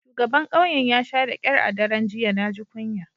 Shugaban kauyen ya sha da kyar a daren jiya. Na ji kunya.